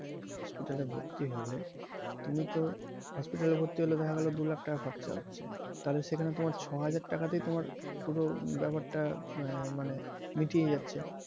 hospital এ ভর্তি হলে, তুমি তো hospital এ ভর্তি হলে দেখা গেলো দু লাখ টাকা খরচা হচ্ছে তাহলে তোমার ছয় হাজার টাকা তেই তোমার পুরো ব্যাপার টা আহ মানে মিটিয়ে যাচ্ছে।